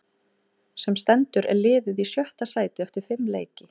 Sem stendur er liðið í sjötta sæti eftir fimm leiki.